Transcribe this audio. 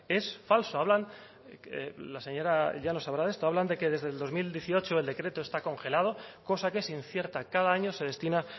es falso hablan la señora llanos sabrá de esto hablan de que desde el dos mil dieciocho el decreto está congelado cosa que es incierta cada año se destina